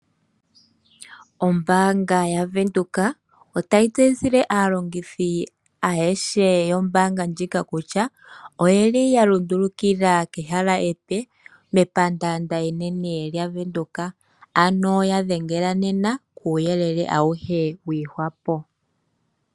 Ombanga yaVenduka otayi tseyithile aalongithi ayehe yombanga ndjika kutya, oyalundulukila kehala epe mepandanda enene lyaVenduka, ano kuuyelele wiihwapo ya dhengela nena.